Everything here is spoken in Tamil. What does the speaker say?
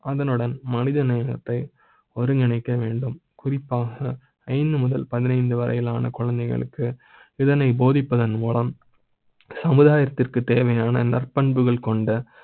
அதனுடன் மனித நேயத்தை ஒருங்கிணைக்க வேண்டும், குறிப்பாக ஐந்து முதல் பதினைந்து வரையிலான குழந்தைகளுக்கு இதனை போதிப்பதன் மூலம் சமுதாயத்திற்கு தேவையான நற்பண்புகள் கொண்ட